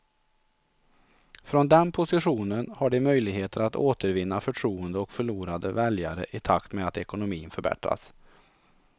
Från den positionen har de möjligheter att återvinna förtroende och förlorade väljare i takt med att ekonomin förbättras.